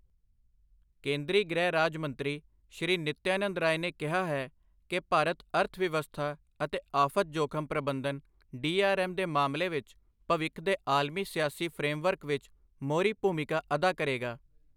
ਕੇਂਦਰੀ ਗ੍ਰਹਿ ਰਾਜ ਮੰਤਰੀ, ਸ਼੍ਰੀ ਨਿਤਯਾਨੰਦ ਰਾਇ ਨੇ ਕਿਹਾ ਹੈ ਕਿ ਭਾਰਤ ਅਰਥਵਿਵਸਥਾ ਅਤੇ ਆਫ਼ਤ ਜੋਖਮ ਪ੍ਰਬੰਧਨ ਡੀਆਰਐਮ ਦੇ ਮਾਮਲੇ ਵਿੱਚ ਭਵਿੱਖ ਦੇ ਆਲਮੀ ਸਿਆਸੀ ਫ਼੍ਰੇਮਵਰਕ ਵਿੱਚ ਮੋਹਰੀ ਭੂਮਿਕਾ ਅਦਾ ਕਰੇਗਾ।